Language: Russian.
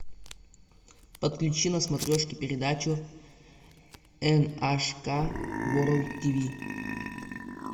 подключи на смотрешке передачу эн аш ка ворлд тиви